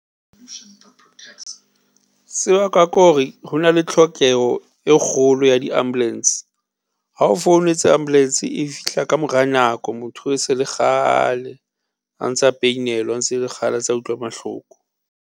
Se bakwa ke hore, ho na le tlhokeho e kgolo ya di ambulance, ha o founetse ambulance e fihla ka mora nako, motho e se le kgale a ntsa peinelwa ntse le kgale a ntsa utlwa mahloko.